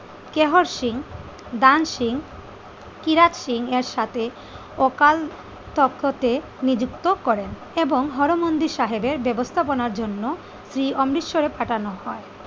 কেহর সিং, দান সিং, কিরাত সিং, এর সাথে অকাল তখতে নিযুক্ত করেন এবং হরমন্দির সাহেবের ব্যবস্থাপনার জন্য সেই অমৃতসরের পাঠানো হয়।